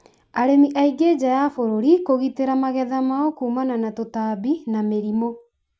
arĩmi aingĩ nja ya bũrũri kũgitĩra magetha mao kũmana na tũtambi na mĩrimũ